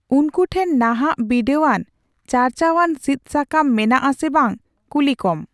ᱩᱱᱠᱩ ᱴᱷᱮᱱ ᱱᱟᱦᱟᱜ ᱵᱤᱰᱟᱣᱟᱱᱼᱪᱟᱨᱪᱟᱣᱟᱱ ᱥᱤᱫᱥᱟᱠᱟᱢ ᱢᱮᱱᱟᱜ ᱟᱥᱮ ᱵᱟᱝ ᱠᱩᱞᱤᱠᱚᱢ ᱾